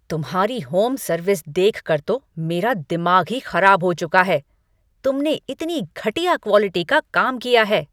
तुम्हारी home service देखकर तो मेरा दिमाग ही खराब हो चुका है, तुमने इतनी घटिया क्वालिटी का काम किया है।